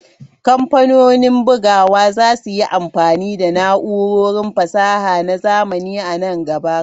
Kamfanonin bugawa za su yi amfani da na'urorin fasaha na zamani a nan gaba.